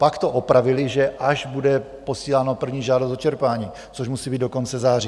Pak to opravili, že až bude posílána první žádost o čerpání, což musí být do konce září.